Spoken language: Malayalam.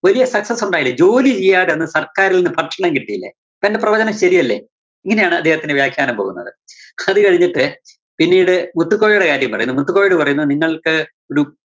വലിയ sucess ഉണ്ടായില്ലേ? ജോലിചെയ്യാതെ തന്നെ സര്‍ക്കാരില്‍ നിന്ന് ഭക്ഷണം കിട്ടിയില്ലേ. അപ്പോ എന്റെ പ്രവചനം ശരിയല്ലേ? ഇങ്ങനെയാണ് അദ്ദേഹത്തിന്റെ വ്യാഖ്യാനം പോകുന്നത്. ഹത് കഴിഞ്ഞിട്ട് പിന്നീട് മുത്തുക്കോയെടെ കാര്യം പറയുന്നു. മുത്തുക്കോയോട് പറയുന്നു നിങ്ങള്‍ക്ക് ടു